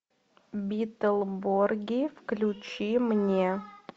битлборги включи мне